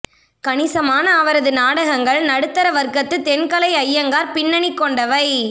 கணிசமான அவரது நாடகங்கள் நடுத்தர வற்கத்து தென்கலை அய்யங்கார் பின்னணி கொண்டவை